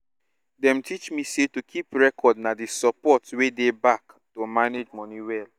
dem teach me say to keep record na di support wey dey back to manage money well